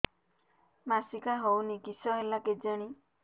ମାସିକା ହଉନି କିଶ ହେଲା କେଜାଣି